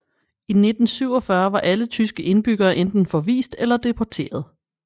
I 1947 var alle tyske indbyggere enten forvist eller deporteret